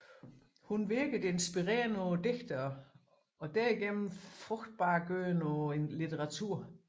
Hun virkede inspirerende på digterne og derigennem frugtbargørende på litteraturen